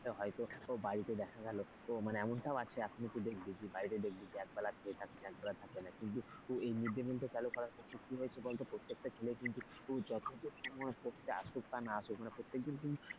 হয়তো বাড়িতে দেখা গেল মানে এমনটাও আছে এখনো তুই দেখবি বাড়িতে দেখবি যে এক বেলা খেয়ে থাকে এক বেলা থাকে না কিন্তু এই mid day meal টা চালু করার ফলে কি হয়েছে বল তো প্রত্যেকটা ছেলে কিন্তু আসুক বা না আসুক মানে প্রত্যেকদিন কিন্তু,